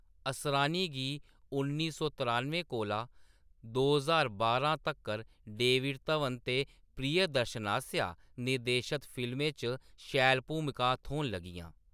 असरानी गी उन्नी सौ त्रानुएं कोला दो ज्हार बारां तक्कर डेविड धवन ते प्रियदर्शन आसेआ निर्देशत फिल्में च शैल भूमिकां थ्होन लगियां।